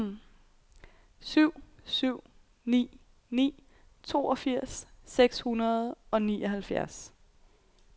syv syv ni ni toogfirs seks hundrede og nioghalvfjerds